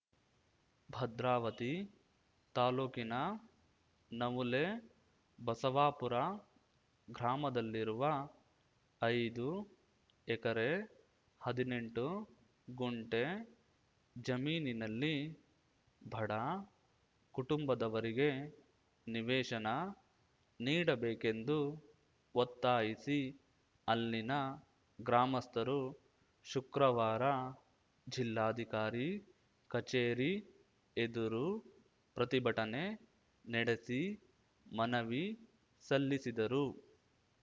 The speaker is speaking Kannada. ಭದ್ರಾವತಿ ತಾಲೂಕಿನ ನವುಲೆ ಬಸವಾಪುರ ಗ್ರಾಮದಲ್ಲಿರುವ ಐದು ಎಕರೆ ಹದಿನೆಂಟು ಗುಂಟೆ ಜಮೀನಿನಲ್ಲಿ ಬಡ ಕುಟುಂಬದವರಿಗೆ ನಿವೇಶನ ನೀಡಬೇಕೆಂದು ಒತ್ತಾಯಿಸಿ ಅಲ್ಲಿನ ಗ್ರಾಮಸ್ಥರು ಶುಕ್ರವಾರ ಜಿಲ್ಲಾಧಿಕಾರಿ ಕಚೇರಿ ಎದುರು ಪ್ರತಿಭಟನೆ ನಡೆಸಿ ಮನವಿ ಸಲ್ಲಿಸಿದರು